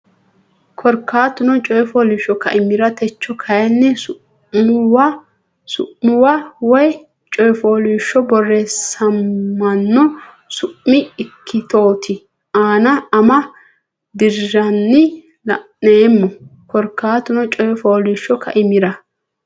Korkaatuno coy fooliishsho kaimira Techo kayinni su muwa coy fooliishsho borreessamanno su mi ikkitote anna ama deerrinni la neemmo Korkaatuno coy fooliishsho kaimira.